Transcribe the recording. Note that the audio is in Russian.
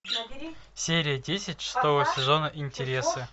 серия десять шестого сезона интересы